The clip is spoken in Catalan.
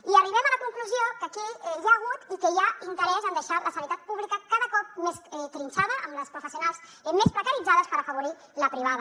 i arribem a la conclusió que aquí hi ha hagut i que hi ha interès en deixar la sanitat pública cada cop més trinxada amb les professionals més precaritzades per afavorir la privada